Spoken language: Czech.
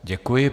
Děkuji.